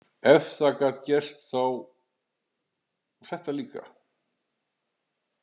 Ef það gat gerst, þá þetta líka.